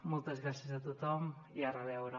moltes gràcies a tothom i a reveure